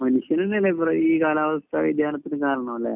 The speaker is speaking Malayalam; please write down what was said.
മനുഷ്യൻ തന്നെയല്ലേ ഈ കാലാവസ്ഥ വ്യതിയാനത്തിന് കാരണം അല്ലെ